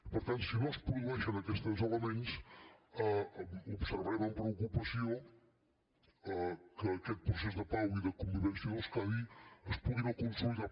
per tant si no es produeixen aquests tres elements observarem amb preocupació que aquest procés de pau i de convivència d’euskadi es pugui no consolidar